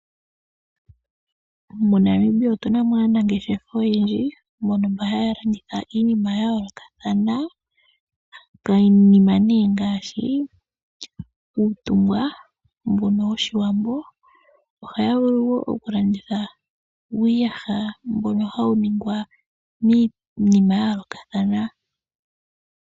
MoNamibia otuna mo aanangeshefa oyendji mbono haya landitha iinima ya yoolokathana, ngaashi uutungwa mbu woshiwambo oshowo uuyaha mbono hawu ningwa miinima yayoolokathana.